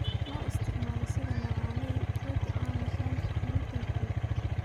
Loo isticmaalo sidii macaaneeye rooti aan lahayn gluten-free.